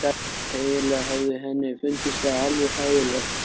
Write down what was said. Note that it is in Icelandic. Eiginlega hafði henni fundist það alveg hræðilegt.